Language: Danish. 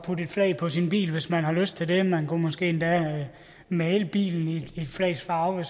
flag på sin bil hvis man har lyst til det man kunne måske endda male bilen i et flags farver